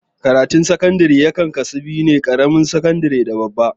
Karatun sakandare yakan kasu biyu, karamar sakandare da babba